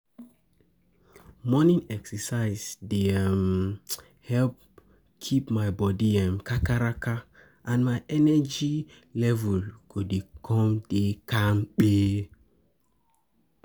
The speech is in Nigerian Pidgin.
Morning exercise dey help keep my body kakaraka, and my energy level go come dey kapi